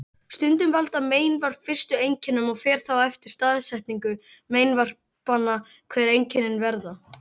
Stundum valda meinvörp fyrstu einkennunum og fer þá eftir staðsetningu meinvarpanna hver einkennin verða.